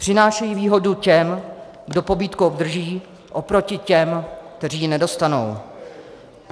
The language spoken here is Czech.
Přinášejí výhodu těm, kdo pobídku obdrží, oproti těm, kteří ji nedostanou.